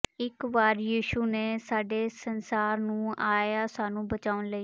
ਇੱਕ ਵਾਰ ਯਿਸੂ ਨੇ ਸਾਡੇ ਸੰਸਾਰ ਨੂੰ ਆਇਆ ਸਾਨੂੰ ਬਚਾਉਣ ਲਈ